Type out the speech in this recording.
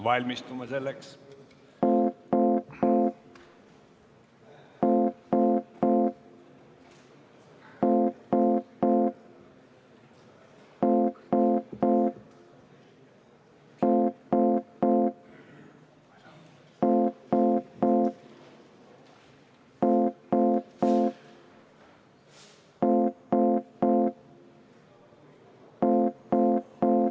Valmistume selleks.